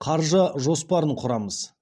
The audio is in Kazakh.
қаржы жоспарын құрамыз